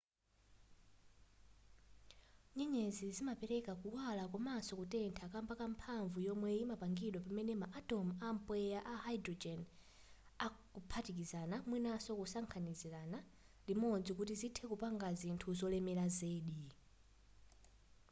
nyenyezi zimapereka kuwala komanso kutentha kamba ka mphamvu yomwe yimapangidwa pamene ma atom a mpweya wa hydrogen akaphatikizana mwinaso kusakanikirana limodzi kuti zithe kupanga zinthu zolemera zedi